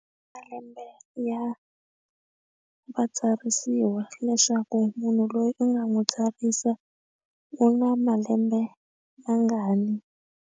Malembe ya vatsarisiwa leswaku munhu loyi u nga n'wi tsarisa u na malembe mangani.